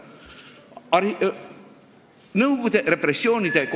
Palun lisaaega!